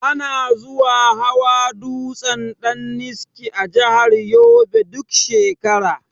Ana zuwa hawa dutsen daniski a jahar yobe duk shekara